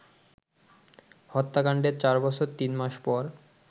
হত্যাকান্ডের চার বছর তিন মাস পর